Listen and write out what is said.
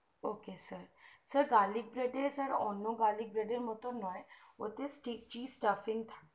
ok sir sir garlic bread ওটা অন্য garlic bread এর মতো নয় ওতে styptic stamping থাকে